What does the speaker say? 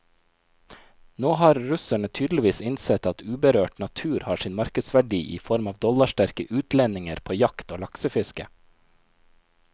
Nå har russerne tydeligvis innsett at uberørt natur har sin markedsverdi i form av dollarsterke utlendinger på jakt og laksefiske.